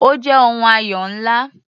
Ó jẹ́ ohun ayọ̀ ńlá.